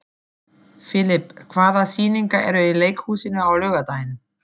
Filip, hvaða sýningar eru í leikhúsinu á laugardaginn?